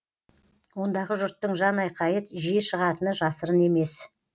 ондағы жұрттың жанайқайы жиі шығатыны жасырын емес